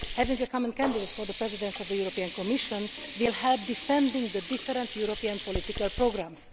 Having a common candidate for the presidency of the European Commission will help to defend the different European political programmes.